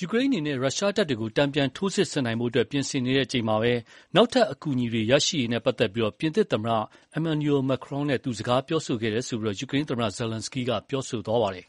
ယူကရိန်းအနေနဲ့ ရုရှားတပ်တွကို တန်ပြန်ထိုးစစ်ဆင်ဖို့ပြင်ဆင်နေချိန်မှာ နောက်ထပ်အကူအညီတွေရရှိရေးနဲ့ပတ်သက်လို့ ပြင်သစ်သမ္မတ Emmanuel Macron နဲ့ သူ စကားပြောခဲ့တယ်လို့ ယူကရိန်း သမ္မတ Volodymyr Zelenskyy က ပြောပါတယ်။ "